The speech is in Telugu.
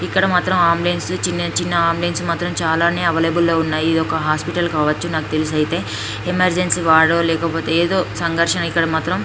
ఇక్కడ మాత్రం అంబియన్స్ చిన్న చిన్న అంబిఎన్స్ మాత్రం అవైలబుల్ గా ఉన్నాయి ఇదొక హాస్పిటల్ కావచ్చు నాకు తెలిసి అయితే ఎమర్జెన్సీ వాడు లేకపోతే ఏదో సంఘర్షణ అయితే మనం మాత్రం --